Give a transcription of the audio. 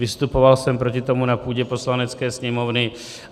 Vystupoval jsem proti tomu na půdě Poslanecké sněmovny.